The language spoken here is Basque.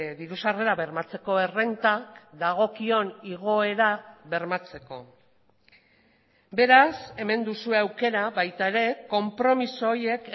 diru sarrera bermatzeko errentak dagokion igoera bermatzeko beraz hemen duzue aukera baita ere konpromiso horiek